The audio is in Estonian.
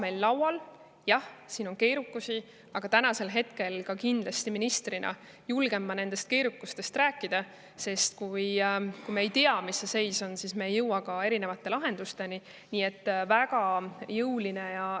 Jah, on keeruline, aga tänasel hetkel ma ministrina julgen sellest keerukusest rääkida, sest kui me ei tea, milline seis on, siis me ei jõua ka lahendusteni.